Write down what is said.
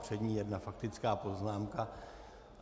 Před ní jedna faktická poznámka.